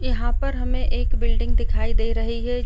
याहा पर हमे एक बिल्डिंग दिखाई दे रही है।